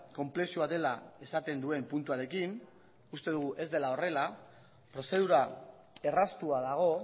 konplexua dela esaten duen puntuarekin uste dugu ez dela horrela prozedura erraztua dago